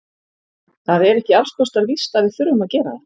Það er ekki alls kostar víst að við þurfum að gera það.